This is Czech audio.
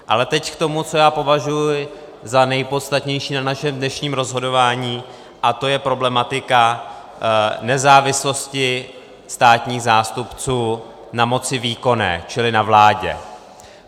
Ale teď k tomu, co já považuji za nepodstatnější na našem dnešním rozhodování, a to je problematika nezávislosti státních zástupců na moci výkonné, čili na vládě.